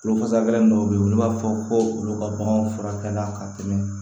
Bolofasa gɛlin dɔw bɛ yen olu b'a fɔ ko olu ka baganw furakɛla ka tɛmɛ